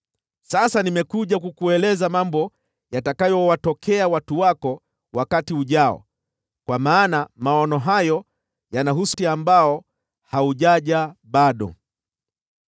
Sasa nimekuja kukuelezea mambo yatakayowatokea watu wako wakati ujao, kwa maana maono hayo yanahusu wakati ambao haujaja bado.”